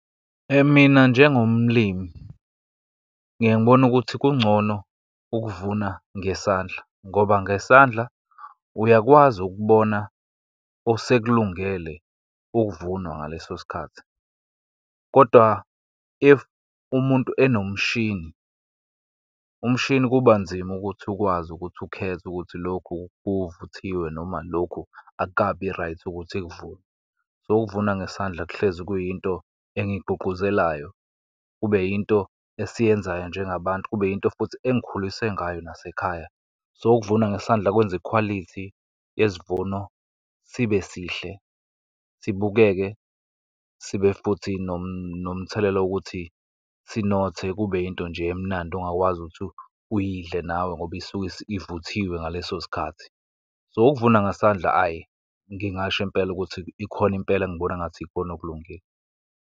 Mina, njengomlimi ngiye ngibone ukuthi kungcono ukuvuna ngesandla, ngoba ngesandla uyakwazi ukubona osekulungele ukuvunwa ngaleso sikhathi. Kodwa, if umuntu enomshini, umshini kuba nzima ukuthi ukwazi ukuthi ukhethe ukuthi lokhu kuvuthiwe, noma lokhu akukabi right ukuthi kuvunwe. So, ukuvuna ngesandla kuhlezi kuyinto engiyigqugquzelayo, kube yinto esiyenzayo njengabantu, kube yinto futhi engikhuliswe ngayo nasekhaya. So, ukuvuna ngesandla kwenza ikhwalithi yesivuno sibe sihle, sibuke, sibe futhi nomthelela wokuthi sinothe, kube yinto nje emnandi ongakwazi ukuthi uyidle nawe, ngoba isuke sivuthiwe ngaleso sikhathi. So, ukuvuna ngesandla, ayi ngingasho impela ukuthi ikhona impela, engibona engathi ikona okulungile.